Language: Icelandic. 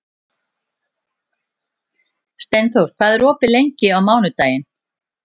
Steinþór, hvað er opið lengi á mánudaginn?